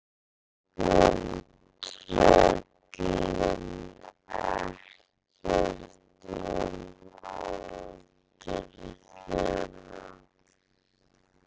Grettir spyr tröllin ekkert um aldur þeirra.